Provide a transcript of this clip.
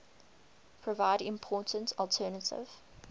provide important alternative